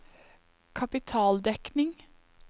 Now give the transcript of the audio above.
kapitaldekning